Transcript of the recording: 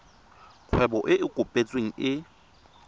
kgwebo e e kopetsweng e